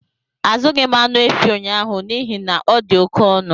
Azụghị m anụ efi ụnyaahụ n'ihi na ọ dị oke ọnụ